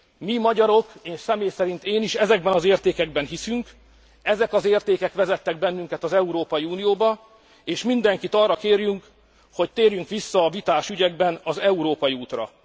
Mi, magyarok, én személy szerint, én is ezekben az értékekben hiszünk, ezek az értékek vezettek bennünket az Európai Unióba és mindenkit arra kérünk, hogy térjünk vissza a vitás ügyekben az európai útra.